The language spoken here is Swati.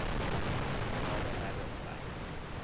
nobe ngabe ngubani